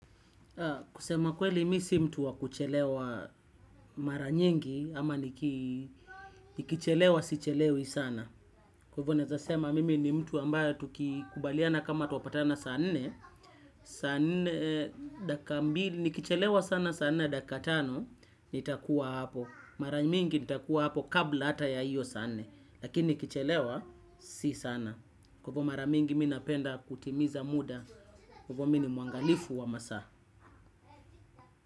Kusema kweli mi si mtu wakuchelewa maranyingi ama nikichelewa sichelewi sana. Kwa hivo naeza sema mimi ni mtu ambayo tukukubaliana kama tuwapatana saa nne, saa nne daka mbili nikichelewa sana saa nne daka tano nitakuwa hapo. Mara mingi nitakuwa hapo kabla hata ya hiyo saa nne. Lakini nikichelewa si sana. Kwa hivo mara mingi mi napenda kutimiza muda. Kwa hivo mi ni muangalifu wa masaa.